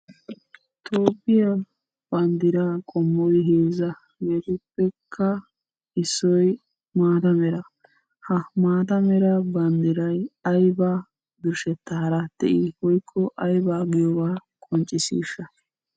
Tophphiya banddiraa qammoy heezza geetettidikka issoy maata mera. Ha maata mera banddiray ayiba birshshettaara de'ii woyikko ayibaa giyobaa qonccissiishsha?